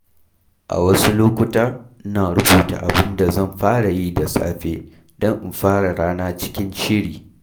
A wasu lokuta, ina rubuta abin da zan fara yi da safe don in fara rana cikin shiri.